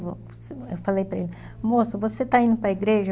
Eu falei para ele, moço, você está indo para a igreja?